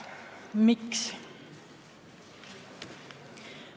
Miks?